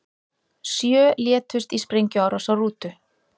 Sjö létust í sprengjuárás á rútu